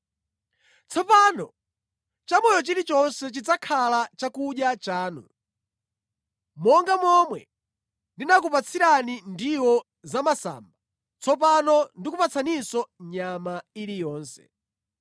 Tsopano chamoyo chilichonse chidzakhala chakudya chanu. Monga momwe ndinakupatsirani ndiwo zamasamba, tsopano ndikupatsaninso nyama iliyonse.